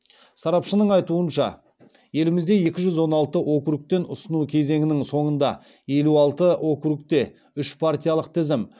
сарапшының айтуынша елімізде екі жүз он алты округтен ұсыну кезеңінің соңында елу алты округте үш партиялық тізім